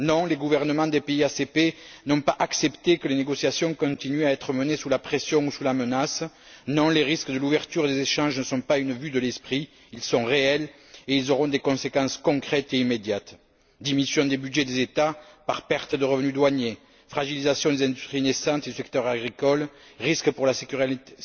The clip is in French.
Non, les gouvernements des pays ACP n'ont pas accepté que les négociations continuent à être menées sous la pression ou sous la menace. Non, les risques de l'ouverture des échanges ne sont pas une vue de l'esprit, ils sont réels et ils auront des conséquences concrètes et immédiates diminution des budgets des États par pertes de revenus douaniers, fragilisation des industries naissantes du secteur agricole, risques pour la sécurité